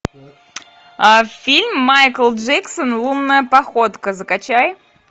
фильм майкл джексон лунная походка закачай